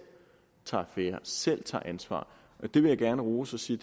tager affære og selv tager ansvar her vil jeg gerne rose og sige